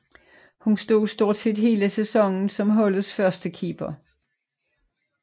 Hun stod stort set hele sæsonen som holdets førstekeeper